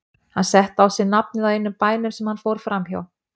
Hann setti á sig nafnið á einum bænum sem hann fór framhjá.